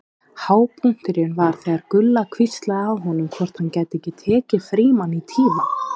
Hápunkturinn var þegar Gulla hvíslaði að honum hvort hann gæti ekki tekið Frímann í tíma.